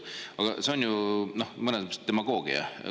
Aga see on ju mõnes mõttes demagoogia.